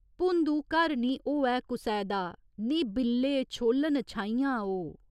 भुंदू घर निं होऐ कुसै दा निं बिल्ले छोल्लन छाहियां ओ।